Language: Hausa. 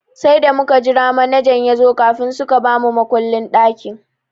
Sai da muka jira manajan yazo kafin suka ba mu makullin ɗakin.